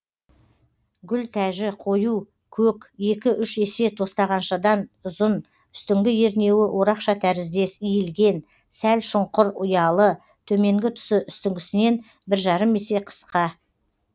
гүлтәжі қою көк екі үш есе тостағаншадан ұзын үстіңгі ернеуі орақша тәріздес иілген сәл шұңқыр ұялы төменгі тұсы үстіңгісінен бір жарым есе қысқа